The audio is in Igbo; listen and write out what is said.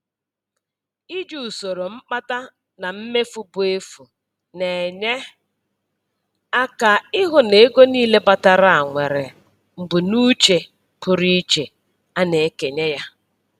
Iji usoro mkpata na mmefu bụ efu na-enye aka ịhụ na ego niile batara nwere mbunuche pụrụ iche a na-ekenye ya.